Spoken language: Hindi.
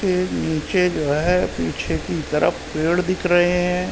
के नीचे जो हैं पीछे की तरफ पेड़ दिख रहे हैं।